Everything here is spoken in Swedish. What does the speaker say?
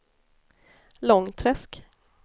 Långträsk